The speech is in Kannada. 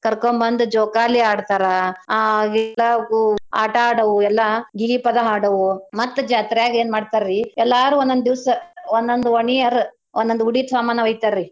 ಕರ್ಕೊಂಬಂದ್ ಜೋಕಾಲಿ ಆಡ್ತರಾ ಆಟಾ ಆಡವೂ ಎಲ್ಲಾ ಗೀಗೀ ಪದಾ ಹಾಡವೂ ಮತ್ ಜಾತ್ರ್ಯಾಗ್ ಎನ್ ಮಾಡ್ತಾರೀ ಎಲ್ಲಾರೂ ಒಂದೊಂದ್ ದೀವ್ಸ್ ಒಂದೊಂದ್ ಓಣಿಯರು ಒಂದೊಂದ್ ಉಡಿ ಸ್ವಾಮಾನ ಒಯ್ತಾರೀ.